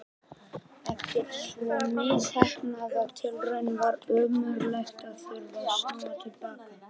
Eftir svo misheppnaðar tilraunir var ömurlegt að þurfa að snúa til baka.